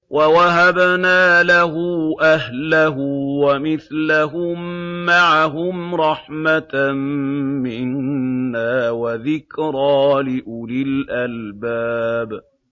وَوَهَبْنَا لَهُ أَهْلَهُ وَمِثْلَهُم مَّعَهُمْ رَحْمَةً مِّنَّا وَذِكْرَىٰ لِأُولِي الْأَلْبَابِ